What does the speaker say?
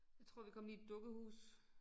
Jeg tror vi kommet i et dukkehus